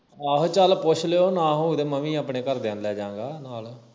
ਆਹੋ ਚੱਲ ਪੁੱਛ ਲਿਓ ਨਾ ਹੋਵੇ ਤੇ ਮੈਂ ਵੀ ਆਪਣੇ ਘਰਦਿਆਂ ਨੂੰ ਲੈ ਜਾ ਗਾ ਨਾਲ